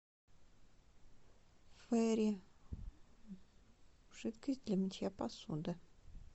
фейри жидкость для мытья посуды